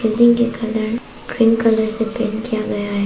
Building के colour green colour से paint किया गया है।